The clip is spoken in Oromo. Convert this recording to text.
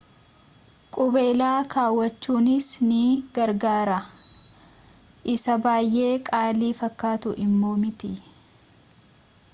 qubeela kawwachunis ni gargaara isa baay’ee qaalii fakkaatu immoo miti